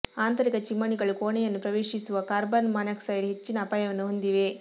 ಆಂತರಿಕ ಚಿಮಣಿಗಳು ಕೋಣೆಯನ್ನು ಪ್ರವೇಶಿಸುವ ಕಾರ್ಬನ್ ಮಾನಾಕ್ಸೈಡ್ನ ಹೆಚ್ಚಿನ ಅಪಾಯವನ್ನು ಹೊಂದಿವೆ